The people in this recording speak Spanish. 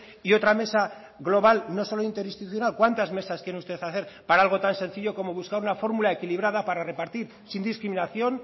y otra mesa global no solo interinstitucional cuántas mesas quieren ustedes hacer para algo tan sencillo como buscar una fórmula equilibrada para repartir sin discriminación